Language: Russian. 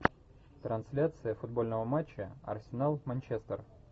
трансляция футбольного матча арсенал манчестер